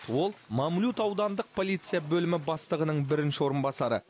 ол мамлют аудандық полиция бөлімі бастығының бірінші орынбасары